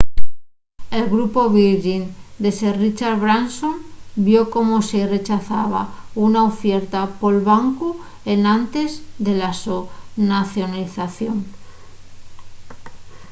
el grupu virgin de sir richard branson vio como se-y rechazaba una ufierta pol bancu enantes de la so nacionalización